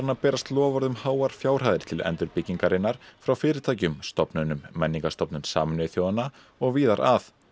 að berast loforð um háar fjárhæðir til endurbyggingarinnar frá fyrirtækjum stofnunum menningarstofnun Sameinuðu þjóðanna og víðar að